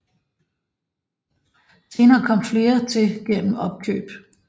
Senere kom flere til gennem opkøb